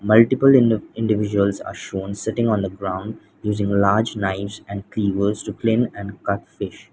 multiple ind-individuals are shown sitting on a ground using a large knives and to clean and cut fish.